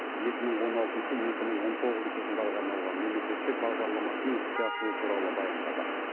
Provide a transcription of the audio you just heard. екі мың он алтыншы екі мың он тоғызыншы жылдарға арналған мемлекеттік бағдарламасының іске асуы туралы баяндады